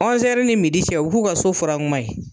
ni cɛ o be k'u ka so furan kuma ye.